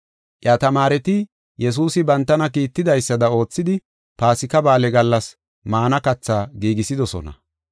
Iya tamaareti Yesuusi bantana kiitidaysada oothidi, Paasika Ba7aale gallas maana kathaa giigisidosona.